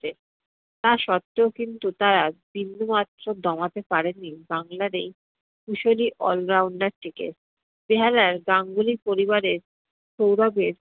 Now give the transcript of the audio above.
তা সত্বেও কিন্তু তারা বিন্দু মাত্র দমাতে পারেনি বাংলার এই কুশলী all-rounder টিকে। বেহালার গাঙ্গুলি পরিবারের সৌরভের